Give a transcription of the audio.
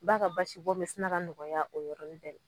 Ba ka basi bɔn bi sina ka nɔgɔya o yɔrɔnin bɛ